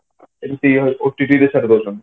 ଏମିତି ହଉ OTT prefer କରୁଛନ୍ତି